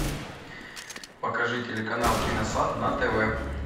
покажи телеканал киносад на тв